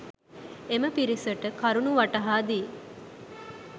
එම පිරිසට කරුණු වටහා දී